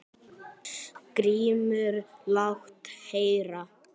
GRÍMUR: Lát heyra!